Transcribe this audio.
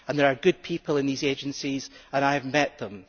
There are good people in these agencies, and I have met them.